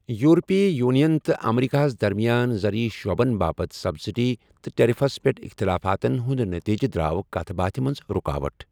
یُورپی union تہٕ امریکہَس درمیان زرعی شعبَن باپت سبسڈی تہٕ ٹیرفَس پیٹھ اختِلافاتَن ہُند نتیجہ دراو کتھ باتھِ منٛز رُکاوٹ۔